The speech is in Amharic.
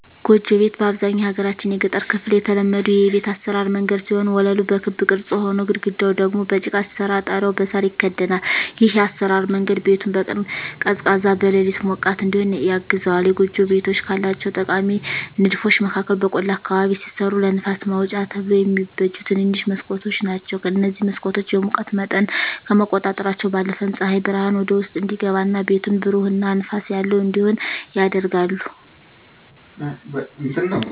ጎጆ ቤት በአብዛኛው የሀገራችን የገጠር ክፍል የተለመዱ የቤት አሰራር መንገድ ሲሆን ወለሉ በክብ ቅርጽ ሆኖ፣ ግድግዳው ደግሞ በጭቃ ሲሰራ ጣሪያው በሳር ይከደናል። ይህ የአሰራር መንገድ ቤቱን በቀን ቀዝቃዛ፣ በሌሊት ሞቃት እዲሆን ያግዘዋል። የጎጆ ቤቶች ካላቸው ጠቃሚ ንድፎች መካከል በቆላ አካባቢ ሲሰሩ ለንፋስ ማውጫ ተብለው የሚበጁ ትንንሽ መስኮቶች ናቸዉ። እነዚህ መስኮቶች የሙቀት መጠንን ከመቆጣጠራቸው ባለፈም ፀሐይ ብርሃን ወደ ውስጥ እንዲገባ እና ቤቱን ብሩህ እና ንፋስ ያለው እንዲሆን ያደርጋሉ።